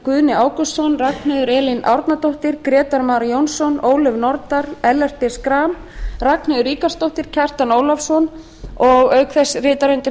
guðni ágústsson ragnheiður elín árnadóttir grétar mar jónsson ólöf nordal ellert b schram ragnheiður ríkarðsdóttir kjartan ólafsson og auk þess rita undir